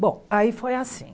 Bom, aí foi assim.